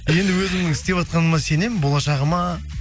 енді өзімнің істеватқаныма сенемін болашағыма